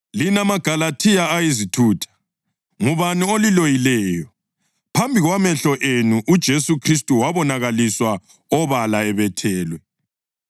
Lina maGalathiya ayizithutha! Ngubani oliloyileyo? Phambi kwamehlo enu uJesu Khristu wabonakaliswa obala ebethelwe.